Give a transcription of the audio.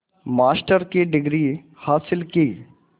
master की degree हासिल की